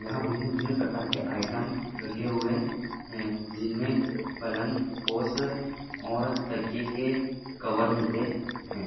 यहा भिन्न भिन्न प्रकारके आईट्म रखे हुए है जिनमे पलंग और तकिये के के कवर मिलते है।